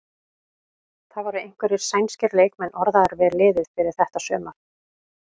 Það voru einhverjir sænskir leikmenn orðaðir við liðið fyrir þetta sumar?